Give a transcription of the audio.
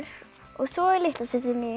svo er litla systir mín